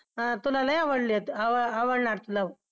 अं तुला लई आवडली आव आवडणार तुला